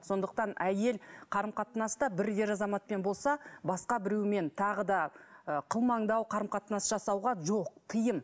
сондықтан әйел қарым қатынаста бір ер азаматпен болса басқа біреумен тағы да ы қылмыңдау қарым қатынас жасауға жоқ тыйым